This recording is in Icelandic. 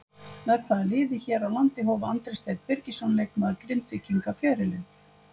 Með hvaða liði hér á landi hóf Andri Steinn Birgisson leikmaður Grindvíkinga ferilinn?